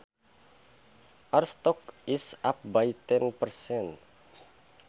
Our stock is up by ten percent